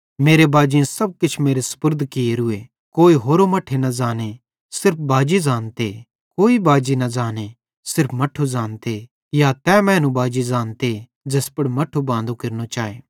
मेरे बाजेईं सब किछ मेरे सुपुर्द कियोरूए कोई होरो मट्ठे न ज़ांने सिर्फ बाजी ज़ानते कोई बाजी न ज़ांने सिर्फ मट्ठू ज़ानते या तै मैनू बाजी ज़ानते ज़ैस पुड़ मट्ठू बांदो केरने चाए